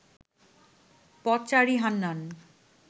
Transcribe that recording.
পথচারী হান্নান